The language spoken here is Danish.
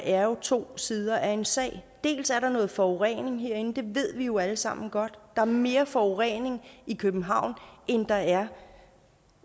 er to sider af en sag dels er der noget forurening herinde det ved vi jo alle sammen godt er mere forurening i københavn end der er